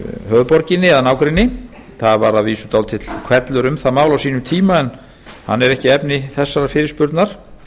höfuðborginni eða nágrenni það varð að vísu dálítill hvellur um það mál á sínum tíma en hann er ekki efni þessarar fyrirspurnar